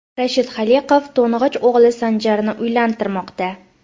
Rashid Xoliqov to‘ng‘ich o‘g‘li Sanjarni uylantirmoqda.